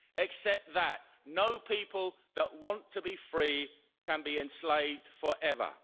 Accept that no people that want to be free can be enslaved forever.